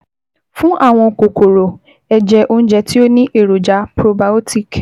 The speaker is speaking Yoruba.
Fún àwọn kòkòrò, ẹ jẹ oúnjẹ tí ó ní èròjà probiotic